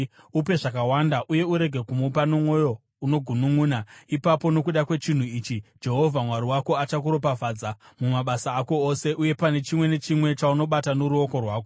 Upe zvakawanda uye urege kumupa nomwoyo unogununʼuna; ipapo nokuda kwechinhu ichi Jehovha Mwari wako achakuropafadza mumabasa ako ose uye pane chimwe nechimwe chaunobata noruoko rwako.